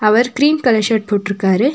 அவர் cream colour shirt போட்ருக்காரு.